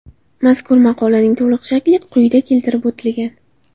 Mazkur maqolaning to‘liq shakli quyida keltirib o‘tilgan.